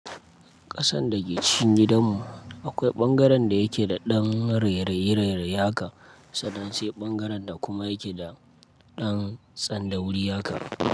Ƙasan da ke cikin gidanmu akwai ɓangaren da yake da ɗan rereye rereye haka, sannan sai ɓangaren da kuma yake da ɗan tsan da wuri haka.